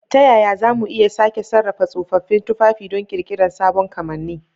Ta yaya za mu iya sake sarrafa tsofaffin tufafi don ƙirƙirar sabon kamanni?